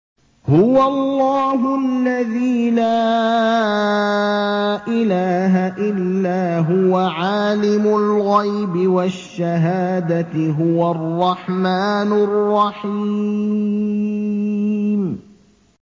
هُوَ اللَّهُ الَّذِي لَا إِلَٰهَ إِلَّا هُوَ ۖ عَالِمُ الْغَيْبِ وَالشَّهَادَةِ ۖ هُوَ الرَّحْمَٰنُ الرَّحِيمُ